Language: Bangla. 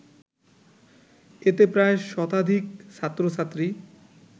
এতে প্রায় শতাধিক ছাত্র-ছাত্রী